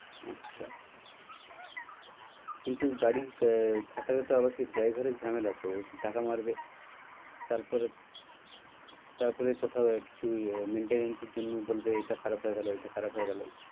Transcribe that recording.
আচ্ছা কিন্তু গাড়ি আহ খাটালে তো আবার driver আর ঝামেলা তো সে টাকা মারবে তারপরে তারপরে কোথাও কিছু maintains এর জন্য বলবে এইটা খারাপ হয়ে গেল ওইটা খারাপ হয় গেল,